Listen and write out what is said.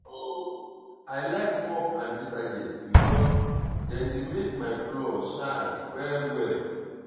um i like mop and detergent because dem dey make my floor shine well well